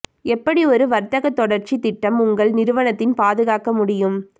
எப்படி ஒரு வர்த்தக தொடர்ச்சி திட்டம் உங்கள் நிறுவனத்தின் பாதுகாக்க முடியும்